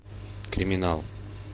криминал